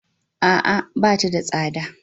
A'a, bata da tsada.